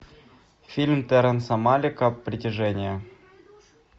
фильм терренса малика притяжение